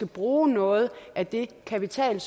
bruge noget af den kapital